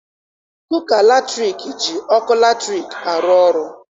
Kuka latriki ji ọkụ latriki arụ ọrụ.